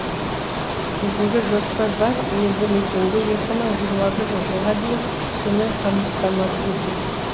бүгінгі жоспар барлық елді мекенді екі мың жиырма бірі жылға дейін сумен қамстамасыз ету